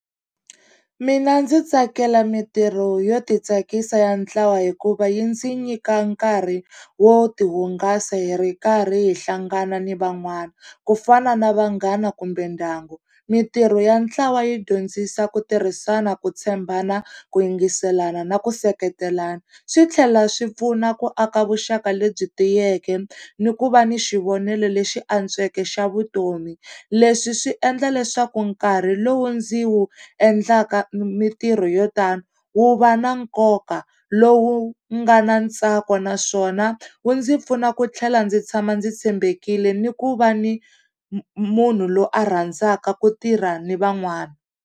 Mina ndzi tsakela mintirho yo titsakisa ya ntlawa hikuva yi ndzi nyika nkarhi wo tihungasa hi ri karhi hi hlangana ni van'wana, ku fana na vanghana kumbe ndyangu. Mintirho ya ntlawa yi dyondzisa ku tirhisana, ku tshembana, ku yingiselana na ku seketelana. Swi tlhela swi pfuna ku aka vuxaka lebyi tiyeke ni ku va ni xivonele lexi antsweke xa vutomi. Leswi swi endla leswaku nkarhi lowu ndzi wu endlaka mintirho yo tani wu va na nkoka lowu nga na ntsako naswona wu ndzi pfuna ku tlhela ndzi tshama ndzi tshembekile ni ku va ni munhu loyi a rhandzaka ku tirha ni van'wana.